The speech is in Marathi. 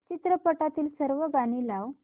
चित्रपटातील सर्व गाणी लाव